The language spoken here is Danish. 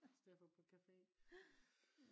I stedet for vi er på cafe